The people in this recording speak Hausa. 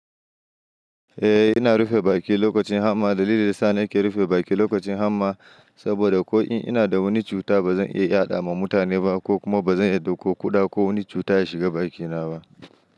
Eh ina rufe baki lokacin hamma, dalilin da yasa nake rufe baki lokacin yamma, saboda ko in inada wani cuta bazan iy yaɗawa mutane ba, kokuma bazan yadda ko kuɗa ko wani cuta ya shiga bakina ba.